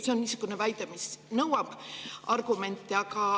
See on niisugune väide, mis nõuab argumente.